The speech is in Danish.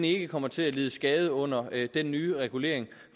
ikke kommer til at lide skade under den nye regulering